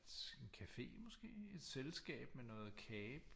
Et en café måske et selskab med noget kage